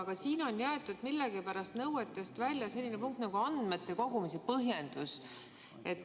Aga siin on jäetud millegipärast nõuetest välja selline punkt nagu andmete kogumise põhjendus.